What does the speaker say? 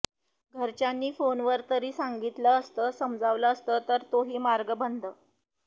घरच्यांनी फोनवर तरी सांगितलं असतं समजावलं असतं तर तोही मार्ग बंद